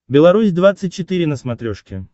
беларусь двадцать четыре на смотрешке